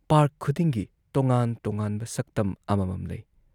Park ꯈꯨꯗꯤꯡꯒꯤ ꯇꯣꯉꯥꯟ ꯇꯣꯉꯥꯟꯕ ꯁꯛꯇꯝ ꯑꯃꯃꯝ ꯂꯩ ꯫